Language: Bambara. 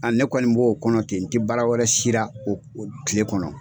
ne kɔni b'o kɔnɔ ten n tɛ baara wɛrɛ sira o o tile kɔnɔ.